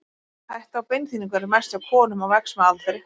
Hætta á beinþynningu er mest hjá konum og vex með aldri.